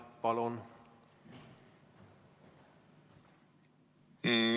Palun!